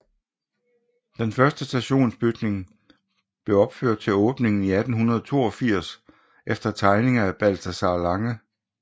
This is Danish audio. Den første stationsbygning blev opført til åbningen i 1882 efter tegninger af Balthazar Lange